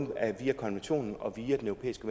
via konventionen og via den europæiske